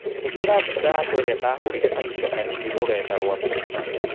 ĩkĩra mbica yakwa ĩrĩa ndahurire kahinda kanini rũrenda rũa tũita